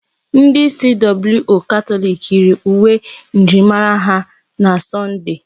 Ndi CWO Katọlik yiiri uwe njirimara ha na Sọnde.